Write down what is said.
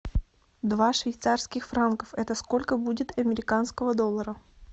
два швейцарских франка это сколько будет американского доллара